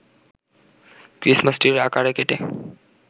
Christmas ট্রির আকারে কেটে